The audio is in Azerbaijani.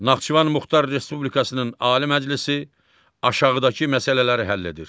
Naxçıvan Muxtar Respublikasının Ali Məclisi aşağıdakı məsələləri həll edir.